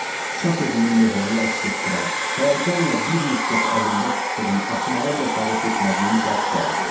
Çap evinin möhürünü əks etdirən, həyəcanla bir müddət əlimdə tutduğum açmağa cəsarət etmədiyim zərf gəldi.